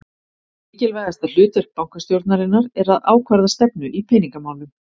Mikilvægasta hlutverk bankastjórnarinnar er að ákvarða stefnu í peningamálum.